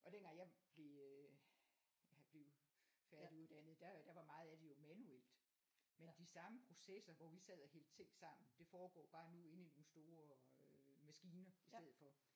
Og dengang jeg blev øh jeg blev færdiguddannet der øh der var meget af det jo manuelt men de samme processer hvor vi sad og hældte ting sammen det foregår bare nu inde i nogle store øh maskiner i stedet for